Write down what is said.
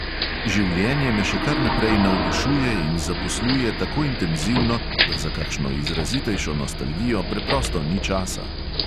Življenje me še kar naprej navdušuje in zaposluje tako intenzivno, da za kakšno izrazitejšo nostalgijo preprosto ni časa.